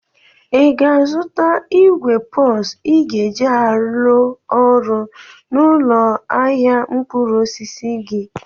Ị ga-azụta igwe pos ị ga-eji alụ ọrụ n'ụlọ ahịa mkpụrụ osisi gị?